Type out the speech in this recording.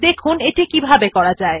দেখুন সেটি কিভাবে করা যায়